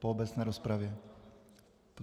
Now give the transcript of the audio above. Po obecné rozpravě?